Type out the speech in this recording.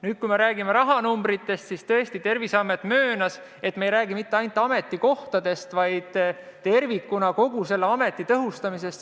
Nüüd, kui me räägime rahanumbritest, siis Terviseamet tõesti möönis, et me ei räägi mitte ainult ametikohtadest, vaid tervikuna kogu selle ameti tõhustamisest.